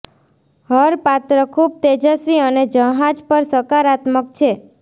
હર પાત્ર ખૂબ તેજસ્વી અને જહાજ પર સકારાત્મક છે